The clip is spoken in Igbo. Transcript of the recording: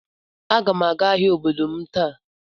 Aga m aga ahịa obodo m taa.